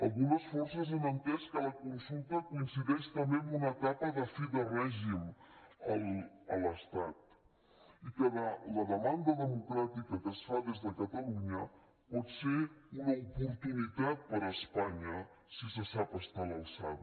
algunes forces han entès que la consulta coincideix també amb una etapa de fi de règim a l’estat i que la demanda democràtica que es fa des de catalunya pot ser una oportunitat per a espanya si se sap estar a l’alçada